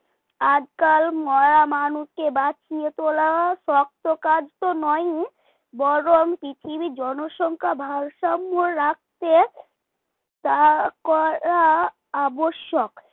আজকাল মরা মানুষকে বাঁচিয়ে তোলা শক্ত কাজ তো নয়ই। বরং পৃথিবীর জনসংখ্যার ভারসাম্য রাখতে তা করা আবশ্যক